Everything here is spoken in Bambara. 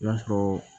I b'a sɔrɔ